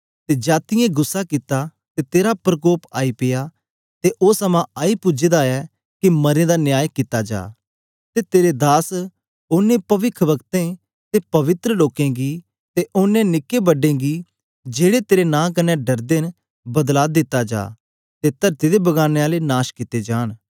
ते जातीयें गुस्सा कित्ता ते तेरा प्रकोप आई पेया ते ओ समां आई पूजे दा ऐ के मरें दा न्याय कित्ता जा ते तेरे दास औने पविखवक्ताऐं ते पवित्र लोकें गी ते ओनें निकें बड्डें गी जेड़े तेरे नां कन्ने डरदे न बदला दिता जा ते तरती दे बगाड़ने आले नाश कित्ते जान